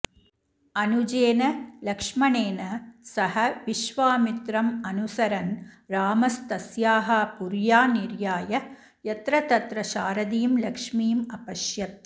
अनुजेन लक्ष्मणेन सह विश्वामित्रमनुसरन् रामस्तस्याः पुर्या निर्याय यत्र तत्र शारदीं लक्ष्मीमपश्यत्